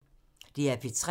DR P3